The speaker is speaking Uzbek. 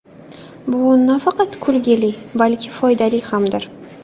Bu nafaqat kulgili, balki foydali hamdir.